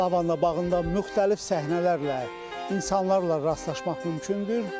Lavanda bağında müxtəlif səhnələrlə, insanlarla rastlaşmaq mümkündür.